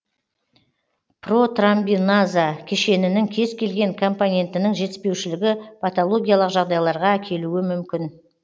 протромбиназа кешенінің кез келген компонентінің жетіспеушілігі патологиялық жағдайларға әкелуі мүмкін